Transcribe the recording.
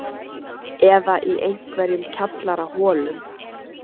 Eða í einhverjum kjallaraholum?